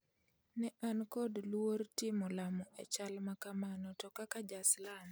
Ne an kod luor timo lamo e chal ma kamano, to kaka Ja-Salam,